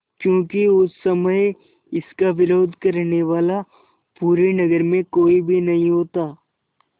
क्योंकि उस समय इसका विरोध करने वाला पूरे नगर में कोई भी नहीं होता